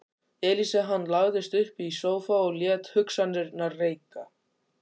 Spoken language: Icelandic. Elísa Hann lagðist upp í sófa og lét hugsanirnar reika.